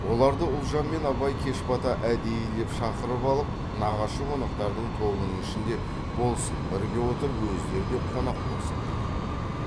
оларды ұлжан мен абай кеш бата әдейілеп шақырып алып нағашы қонақтардың тобының ішінде болсын бірге отырып өздері де қонақ болсын деген